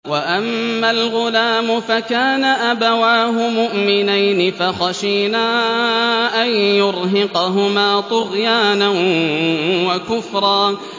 وَأَمَّا الْغُلَامُ فَكَانَ أَبَوَاهُ مُؤْمِنَيْنِ فَخَشِينَا أَن يُرْهِقَهُمَا طُغْيَانًا وَكُفْرًا